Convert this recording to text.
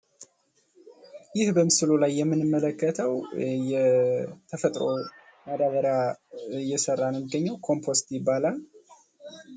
ይህ በምስሉ ላይ የምንመለከተው የተፈጥሮ ማዳበሪያ እየሰራ ነው ሚገኘው። ኮምፖስት ይባላል ።